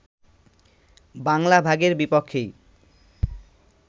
বাংলা ভাগের বিপক্ষেই